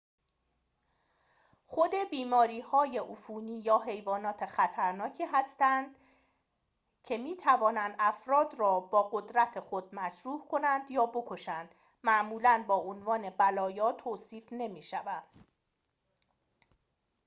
خود بیماری‌های عفونی یا حیوانات خطرناکی که می‌توانند افراد را با قدرت خود مجروح کنند یا بکشند معمولاً با عنوان بلایا توصیف نمی‌شوند